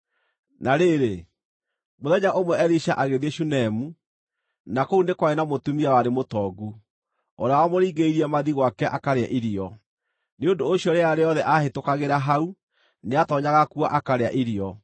Na rĩrĩ, mũthenya ũmwe Elisha agĩthiĩ Shunemu, na kũu nĩ kwarĩ na mũtumia warĩ mũtongu, ũrĩa wamũringĩrĩirie mathiĩ gwake akarĩe irio. Nĩ ũndũ ũcio rĩrĩa rĩothe aahĩtũkagĩra hau nĩatoonyaga kuo akarĩa irio.